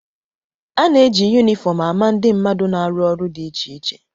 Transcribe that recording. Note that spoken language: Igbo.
A na-eji yunifọm ama ndị mmadụ na-arụ ọrụ dị iche iche